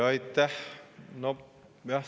Aitäh!